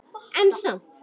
En samt